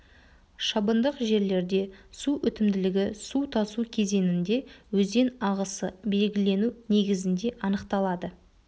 шабындық жерлерде су өтімділігі су тасу кезеңінде өзен ағысы белгілену негізінде анықталады